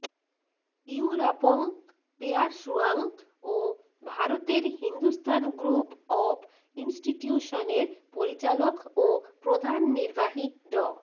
ইউরাপং পেয়ারসুয়াং ও ভারতের হিন্দুস্তান গ্রুপ অব ইনস্টিটিউশনসের পরিচালক ও প্রধান নির্বাহী ড